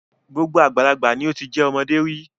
Gbogbo àgbàlagbà ni ó ti jẹ́ ọmọdé rí.